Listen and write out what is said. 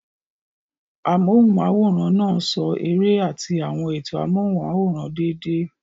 Amóhùnm'áwòrán náà ṣo eré àti àwọn ètò amóhùnm'áwòrán déédéé